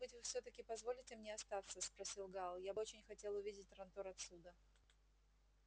может быть вы всё-таки позволите мне остаться просил гаал я бы очень хотел увидеть трантор отсюда